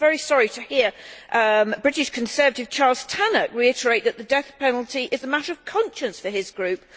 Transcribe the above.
I was very sorry to hear the British Conservative Charles Tannock reiterate that the death penalty is a matter of conscience for his group.